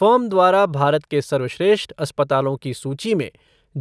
firm द्वारा भारत के सर्वश्रेष्ठ अस्पतालों की सूची में